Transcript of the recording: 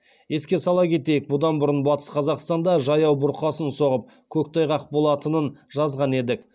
еске сала кетейік бұдан бұрын батыс қазақстанда жаяу бұрқасын соғып көктайғақ болатынын жазған едік